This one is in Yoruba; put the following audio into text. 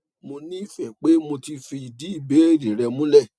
mo ní ìfẹ pe mo ti fìdí ìbéèrè rẹ múlẹ